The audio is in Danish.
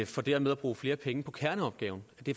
for dermed at bruge flere penge på kerneopgaven